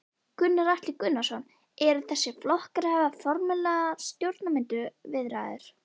Gunnar Atli Gunnarsson: Eru þessir flokkar að hefja formlegar stjórnarmyndunarviðræður?